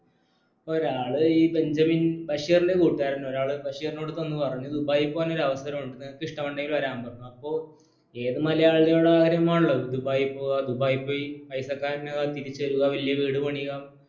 ഒരാൾ ഈ ബെഞ്ചമിൻ ബഷീറിന്റെ കൂട്ടുകാരൻ ഒരാൾ ബഷീറിനോട് ചെന്നുപറഞ്ഞു ദുബായ് പോക്കാന് ഒരു അവസരമുണ്ട് നിനക്ക് ഇഷ്ടമുണ്ടെങ്കിൽ വരാൻ പറഞ്ഞു അപ്പോ ഏത് മലയാളിയുടെ ആഗ്രഹമാനുള്ളത് ദുബയി പോകുക ദുബായി പൈസ കാരനായി തിരിച്ചുവരുക വലിയ വീട് പണിയിക